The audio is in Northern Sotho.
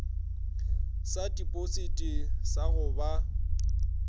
sa tipositi sa go ba